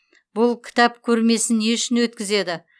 бұл кітап көрмесін не үшін өткізеді